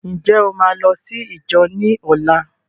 Ǹjẹ́ o máa lọ sí íjọ ní ọlá?